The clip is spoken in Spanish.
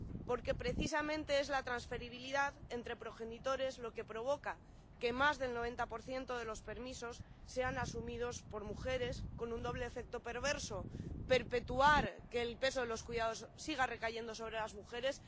Porque precisamente es la transferibilidad entre progenitores lo que provoca que más del 90 de los permisos sean asumidos por mujeres con un doble efecto perverso perpetuar que el peso de los cuidados siga recayendo sobre las mujeres.